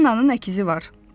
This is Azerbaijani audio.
Ennanın əkizi var.